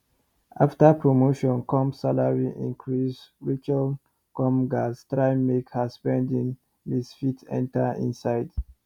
after promotion come salary increase rachel come gats try make her spending list fit enter inside